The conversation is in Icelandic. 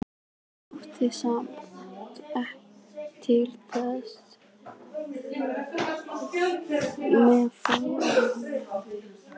Mátti samt til með að láta hvína aðeins í sér.